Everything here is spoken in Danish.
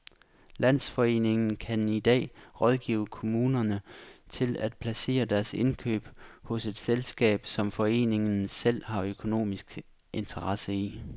Landsforeningen kan i dag rådgive kommunerne til at placere deres indkøb hos et selskab, som foreningen selv har økonomiske interesser i.